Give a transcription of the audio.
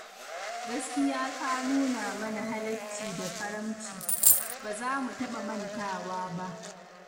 Gaskiya ka nuna mana halacci da karamci, ba za mu taɓa mantawa ba.